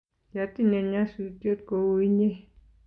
kiatinye nyasutiet kou inye